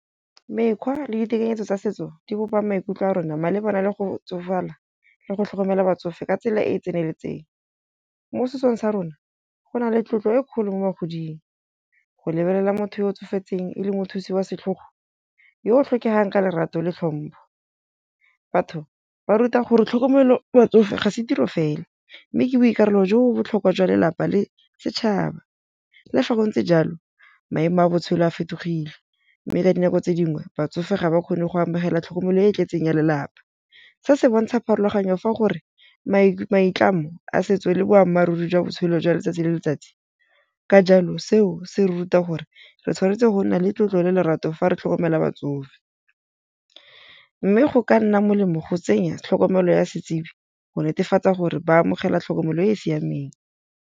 Mekgwa le ditekanyetso tsa setso di bopa maikutlo a rona malebana le go tsofala le go tlhokomela batsofe ka tsela e e tseneletseng. Mo setsong sa rona go na le tlotlo e kgolo mo godimo go lebelela motho yo o tsofetseng e le mothusi wa setlhogo yo tlhokegang ka lerato le tlhompho. Batho ba ruta gore tlhokomelo batsofe ga se tiro fela. Mme ke boikarolo jo botlhokwa jwa lelapa le setšhaba. Le fa go ntse jalo maemo a botshelo a fetogile. Mme ka dinako tse dingwe batsofe ga ba kgone go amogela tlhokomelo e e tletseng ya lelapa. Se se bontsha pharologanyo fa gore maitlamo a setso le boammaaruri jwa botshelo jwa letsatsi le letsatsi. Ka jalo seo se ruta gore re tshwanetse go nna le tlotlo le lerato fa re tlhokomela batsofe. Mme go ka nna molemo go tsenya tlhokomelo ya setsibi go netefatsa gore ba amogela tlhokomelo e e siameng.